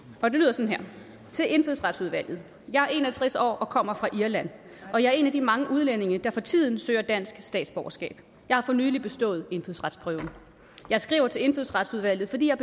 og det lyder sådan her til indfødsretsudvalget jeg er en og tres år og kommer fra irland og jeg er en af de mange udlændinge der for tiden søger dansk statsborgerskab jeg har for nylig bestået indfødsretsprøven jeg skriver til indfødsretsudvalget fordi jeg